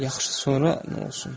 Yaxşı, sonra nə olsun?